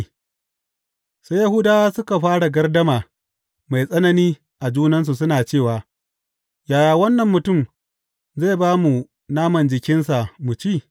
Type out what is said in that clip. Sai Yahudawa suka fara gardama mai tsanani a junansu suna cewa, Yaya wannan mutum zai ba mu naman jikinsa mu ci?